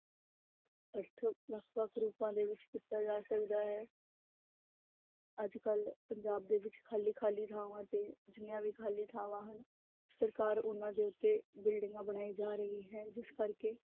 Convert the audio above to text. ਅਰਥ ਵੱਖ ਵੱਖ ਰੂਪਾਂ ਦੇ ਵਿੱਚ ਕੀਤਾ ਜਾ ਸਕਦਾ ਹੈ ਅੱਜ ਕੱਲ੍ਹ ਪੰਜਾਬ ਦੇ ਵਿੱਚ ਖਾਲੀ ਖਾਲੀ ਥਾਵਾਂ ਤੇ ਜਿੰਨੀਆਂ ਵੀ ਖਾਲੀ ਥਾਵਾਂ ਹਨ, ਸਰਕਾਰ ਉਹਨਾਂ ਦੇ ਉੱਤੇ ਬਿਲਡਿੰਗਾਂ ਬਣਾਈ ਜਾ ਰਹੀ ਹੈ ਜਿਸ ਕਰਕੇ